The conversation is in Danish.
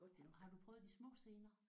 Har du prøvet de små scener?